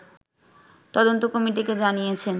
তদন্ত কমিটিকে জানিয়েছেন